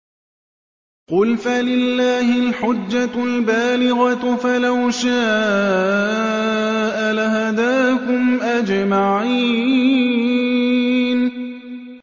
قُلْ فَلِلَّهِ الْحُجَّةُ الْبَالِغَةُ ۖ فَلَوْ شَاءَ لَهَدَاكُمْ أَجْمَعِينَ